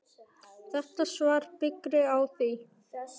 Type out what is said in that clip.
Þetta svar byggir á því.